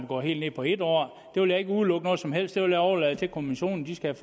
gå helt ned på en år der vil jeg ikke udelukke noget som helst det vil jeg overlade til kommissionen den skal